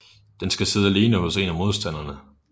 Den skal sidde alene hos en af modstanderne